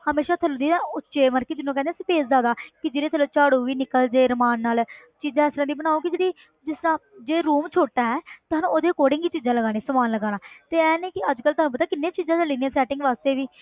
ਹਮੇਸ਼ਾ ਥੱਲੇ ਦੀ ਇਹ ਉੱਚੇ ਮਤਲਬ ਕਿ ਜਿਹਨੂੰ ਕਹਿੰਦੇ ਹਾਂ space ਜ਼ਿਆਦਾ ਕਿ ਜਿਹਦੇ ਥੱਲੋਂ ਝਾੜੂ ਵੀ ਨਿਕਲ ਜਾਏ ਆਰਾਮ ਨਾਲ ਚੀਜ਼ਾਂ ਇਸ ਤਰ੍ਹਾਂ ਦੀਆਂ ਬਣਾਓ ਕਿ ਜਿਹੜੀ ਜਿਸ ਤਰ੍ਹਾਂ ਜੇ room ਛੋਟਾ ਹੈ ਤਾਂ ਸਾਨੂੰ ਉਹਦੇ according ਹੀ ਚੀਜ਼ਾਂ ਲਗਾਉਣੀ ਸਮਾਨ ਲਗਾਉਣਾ ਤੇ ਇਹ ਨੀ ਕਿ ਅੱਜ ਕੱਲ੍ਹ ਤੁਹਾਨੂੰ ਪਤਾ ਕਿੰਨ੍ਹੀਆਂ ਚੀਜ਼ਾਂ ਚੱਲੀਆਂ setting ਵਾਸਤੇ ਵੀ